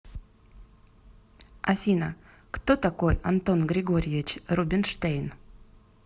афина кто такой антон григорьевич рубинштейн